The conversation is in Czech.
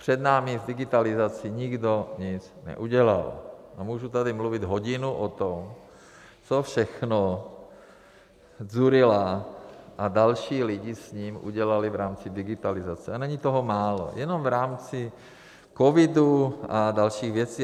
Před námi s digitalizací nikdo nic neudělal a můžu tady mluvit hodinu o tom, co všechno Dzurilla a další lidi s ním udělali v rámci digitalizace, a není toho málo, jenom v rámci covidu a dalších věcí.